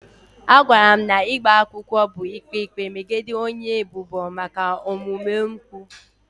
A gwara m na ịgba akwụkwọ bụ ikpe ikpe megide onye ebubo maka omume mpụ.